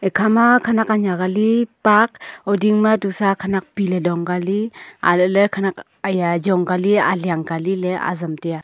khama khanak anyak ali park uding ma tusa khanak pile dong kali alale khanak aya ajong Kali aliang ka li le azam tai a.